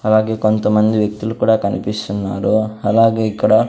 అలాగే కొంత మంది వ్యక్తులు కుడా కనిపిస్తున్నారు అలాగే ఇక్కడ --